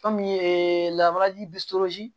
Fɛn min ye lamarali